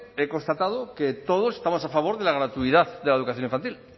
he constatado que todos estamos a favor de la gratuidad de la educación infantil